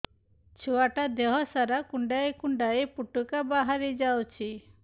ଛୁଆ ଟା ଦେହ ସାରା କୁଣ୍ଡାଇ କୁଣ୍ଡାଇ ପୁଟୁକା ବାହାରି ଯାଉଛି